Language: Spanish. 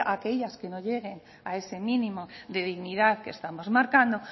aquellas que no lleguen a ese mínimo de dignidad que estamos marcando